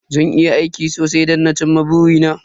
Zan yi aiki sosai don na ci ma buri na